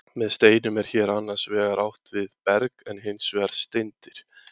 með steinum er hér annars vegar átt við berg og hins vegar steindir